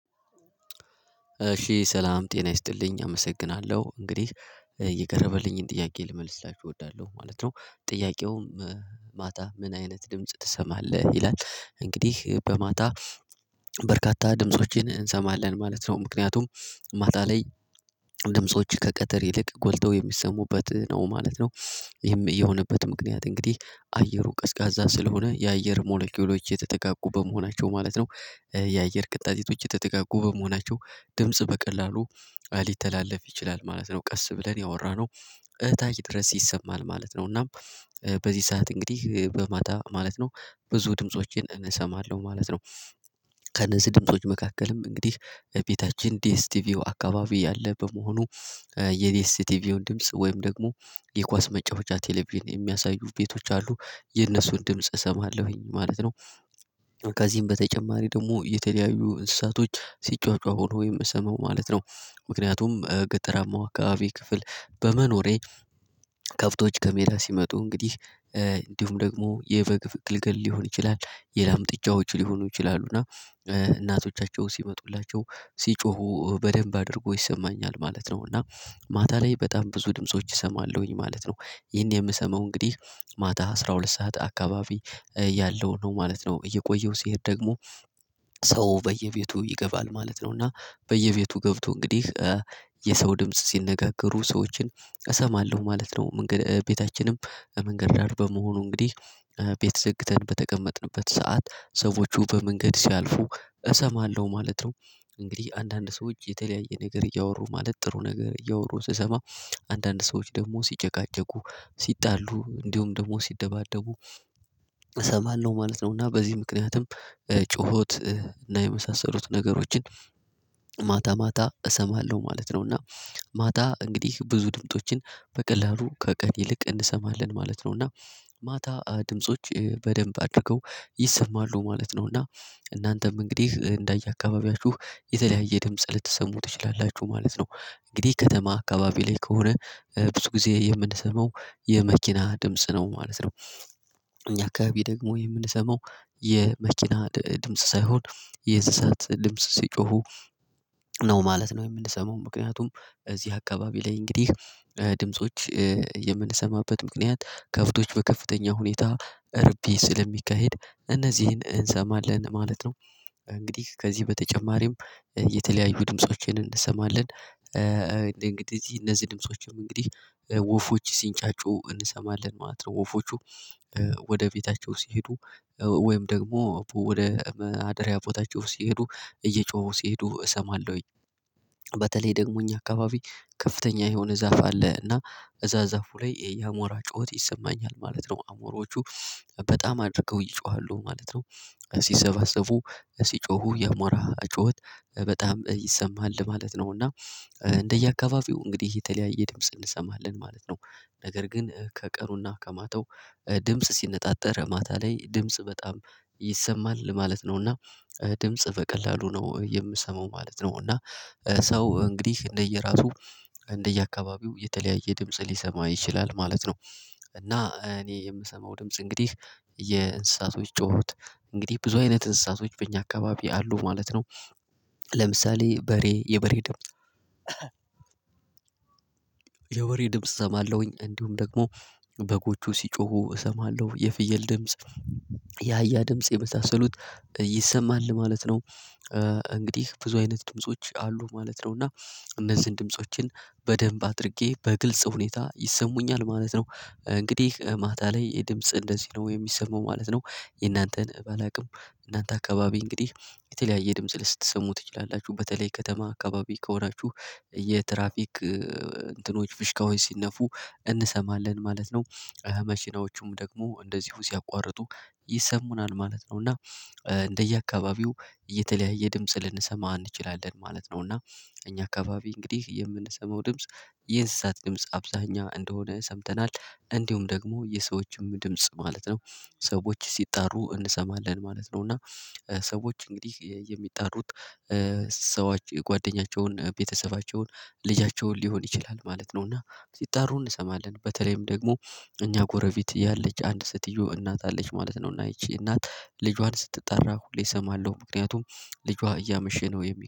እሺ ሰላም ጤና ይስጥልኝ አመሰግናለሁ እንግዲህ የቀርበልኝን ጥያቄ ልመልስላችው እወዳለሁ ማለት ነው ጥያቄውም ማታ ምን አይነት ድምጽ ትሰማለህ ይላል። እንግዲህ በማታ በርካታ ድምፆችን እንሰማለን ማለት ነው ምክንያቱም ማታ ላይ ድምጾች ከቀትር ይልቅ ጎልተው የሚሰሙበት ነው ማለት ነው። ይህም የሆነበት ምክንያት እንግዲህ አየሩ ቀዝቃዛ ስለሆነ የአየር ሞለኪውሎች የተጠጋጉ በመሆናቸው ማለት ነው። የአየር ቅጣጢቶች የተጠጋጉ በመሆናቸው ድምጽ በቀላሉ ሊተላለፍ ይችላል ማለት ነው። ቀስ ብለን ያወራነው እታች ድረስ ይሰማል ማለት ነው። እና በዚህ ሰዓት እንግዲህ በማታ ማለት ነው ብዙ ድምፆችን እሰማለሁ ማለት ነው። ከነዚህ ድምጾች መካከልም እንግዲህ ቤታችን ዲኤስ ቲቪው አካባቢ ያለ በመሆኑ የዴስቲቪውን ድምጽ ወይም ደግሞ የኳስ መጨወቻ ቴሌቪዥን የሚያሳዩ ቤቶች አሉ የነሱን ድምጽ እሰማለሁኝ ማለት ነው። ከዚህም በተጨማሪ ደግሞ የተለያዩ እንስሳቶች ሲጮጨሁ ሆኖ ወይም የምሰማው ማለት ነው። ምክንያቱም ገጠራማው አካባብ ክፍል በመኖሬ ከብቶች ከሜዳ ሲመጡ እንግዲህ እንዲሁም ደግሞ የበግ ግልገል ሊሆን ይችላል። የላም ጥጫዎች ሊሆኑ ይችላሉ እና እናቶቻቸው ሲመጡላቸው ሲጮሁ በደንብ አድርጎ ይሰማኛል ማለት ነው። እና ማታ ላይ በጣም ብዙ ድምጾች እሰማለሁኝ ማለት ነው። ይሄን የምሰማው እንግዲህ ማታ አስራ ሁለት ሰዓት አካባቢ ያለው ነው ማለት ነው። እየቆየው ሲሄድ ደግሞ። ሰው በየቤቱ ይገባል ማለት ነው እና በየቤቱ ገብቶ እንግዲህ የሰው ድምጽ ሲነጋገሩ ሰዎችን እሰማለሁ ማለት ነው። መንገድ ቤታችንም መንገድ ዳር በመሆኑ እንግዲህ ቤት ዘግተን በተቀመጥንበት ሰዓት ሰዎቹ በመንገድ ሲያልፉ እሰማለሁ ማለት ነው። እንግዲህ አንዳንድ ሰዎች የተለያየ ነገር እያወሩ ማለት ጥሩ ነገር እያወሩ ስሰማ አንዳንድ ሰዎች ደግሞ ሲጨቃጨቁ ሲጣሉ እንዲሁም ደግሞ ሲደባደቡ እሰማለሁ ማለት ነው። እና በዚህ ምክንያትም ጩኸት እና የመሳሰሉት ነገሮችን ማታ ማታ እሰማለሁ ማለት ነው። እና ማታ እንግዲህ ብዙ ድምፆችን በቀላሉ ከቀን ይልቅ እንሰማለን ማለት ነው። እና ማታ ድምጾች በደንብ አድርገው ይሰማሉ ማለት ነው። እና እናንተም እንግዲህ እንዳየ አካባቢያችሁ የተለያየ ደምፅ ልትሰሙ ትችላላችሁ ማለት ነው። እንግዲህ ከተማ አካባቢ ላይ ከሆነ ብዙ ጊዜ የምንሰማው የመኪና ድምጽ ነው ማለት ነው። እኛ አካባቢ ደግሞ የምንሰማው የመኪና ድምጽ ሳይሆን የእንስሳት ድምጽ ሲጮሁ ነው ማለት ነው። የምንሰማው ምክንያቱም እዚህ አካባቢ ላይ እንግዲህ ድምጾች የምንሰማበት ምክንያት ከብቶች በከፍተኛ ሁኔታ እርቢ ስለሚካሄድ እነዚህን እንሰማለን ማለት ነው። እንግዲህ ከዚህ በተጨማሪም የተለያዩ ድምፆቼን እንሰማለን። እንግዲህ እነዚህ ድምፆችም እንግዲህ ወፎች ሲንጫጩ እንሰማለን ማለት ነው። ወፎቹ ወደ ቤታቸው ሲሄዱ ወይም ደግሞ ወደ ማደርያ ቦታቸው ሲሄዱ እየጮሁ ሲሄዱ እሰማለሁኝ። በተለይ ደግሞ እኛ አካባቢ ከፍተኛ የሆነ ዛፍ አለ እና እዛ ዛፉ ላይ የአሞራ ጩኸት ይሰማኛል ማለት ነው። አሞራዎቹ በጣም አድርገው ይጮሃሉ ማለት ነው። ስሰባሰቡ ሲጮሁ የአሞራ ጩኸት በጣም ይሰማል ማለት ነው። እና እንደየአካባቢው እንግዲህ የተለያየ ድምጽ እንሰማለን ማለት ነው። ነገር ግን ከቀሩና ከማተው ድምጽ ሲነፃፃር ማታ ላይ ድምጽ በጣም ይሰማል ማለት ነው። እና ድምጽ በቀላሉ ነው የምሰማው ማለት ነው። እና ሰው እንግዲህ እንደየራሱ እንደየአካባቢው የተለያየ ድምጽ ሊሰማ ይችላል ማለት ነው። እና እኔ የምሰማው ድምጽ እንግዲህ የእንስሳቶች ጮሀት እንግዲህ ብዙ አይነት እንስሳቶች በእኛ አካባቢ አሉ ማለት ነው። ለምሳሌ በሬ የበሬ ድምጽ ድምጽ እሰማለሁኝ እንዲሁም ደግሞ በጎቹ ሲጮሁ እሰማለሁ የፍየል ድምጽ የአያ ድምጽ የመሳሰሉት ይሰማል ማለት ነው። እንግዲህ ብዙ አይነት ድምጾች አሉ ማለት ነው። እና እነዚህን ድምፆችን በደንብ አድርጌ በግልጽ ሁኔታ ይሰሙኛል ማለት ነው። እንግዲህ ማታ ላይ የድምጽ እንደዚህ ነው የሚሰማው ማለት ነው። የእናንተን ባላውቅም እናንተ አካባቢ እንግዲህ የተለያየ ድምጽ ልትሰሙ ትችላላችሁ በተለይ ከተማ አካባቢ ከሆናችሁ የትራፊክ ፍሽካዎች ሲነፉ እንሰማለን ማለት ነው። መኪናዎቹም ደግሞ እንደዚሁ ሲያቋርጡ ይሰሙናል ማለት ነው። እና እንደየአካባቢው የተለያየ ድምጽ ልንሰማ አንችልም ማለት ነው። እና እኛ አካባቢ እንግዲህ የምንሰማው ድምጽ የእንስሳት ድምጽ አብዛኛ እንደሆነ ሰምተናል እንዲሁም ደግሞ የሰዎችም ድምጽ ማለት ነው። ሰዎች ሲጣሩ እንሰማለን ማለት ነው። እና ሰዎች እንግዲህ የሚጣሩት ሰዎች የጓደኛቸውን ቤተሰባቸውን ልጃቸውን ሊሆን ይችላል ማለት ነው። እና ሲጠሩ እንሰማለን በተለይም ደግሞ እኛ ጎረቤት ያለች አንድ ስትየው እናት አለች ማለት ነው። እና ይቺ እናት ልጇን ስትጠራ ሁሌ እሰማለሁ ምክንያቱም ልጇ እያመሸ ነው። የሚ